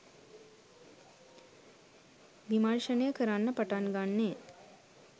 විමර්ෂණය කරන්න පටන් ගන්නේ?